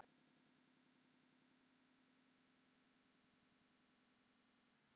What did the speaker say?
Það lýsir af henni.